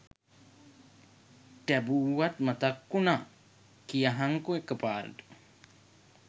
ටැබූවත් මතක් වුනා කියහන්කො එක පාරටම